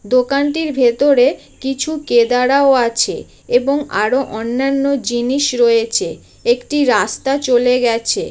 দোকানটির ভেতরে কিছু কেদারা ও আছে | এবং আরও অন্যান্য জিনিস রয়েছে | একটি রাস্তা চলে গেছে |